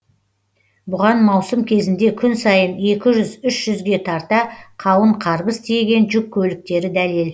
бұған маусым кезінде күн сайын екі жүз үш жүзге тарта қауын қарбыз тиеген жүк көліктері дәлел